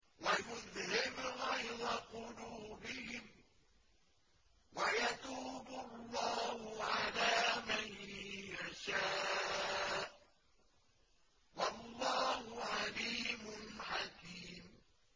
وَيُذْهِبْ غَيْظَ قُلُوبِهِمْ ۗ وَيَتُوبُ اللَّهُ عَلَىٰ مَن يَشَاءُ ۗ وَاللَّهُ عَلِيمٌ حَكِيمٌ